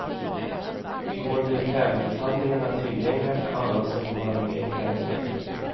I går blev tävlingshandlingarna tillgängliga för alla som vill vara med i tävlingen.